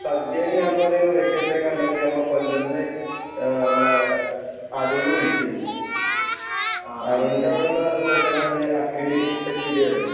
സദ്ധ്യേല് ഞാപ്പൊര് വ്യത്യസ്ഥായി കണ്ടത് ഞമ്മളെ കൊല്ലത്ത്ന്ന് ഏ ഞമ്മളെ അരുണ് വുളിച്ച്‌ന്ന് അരുൺൻ്റെവ്ടെള്ള സ്പെഷ്യലത് അക്കിടി തെക്കിടി പറീം